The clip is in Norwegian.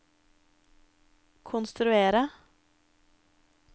konstruerte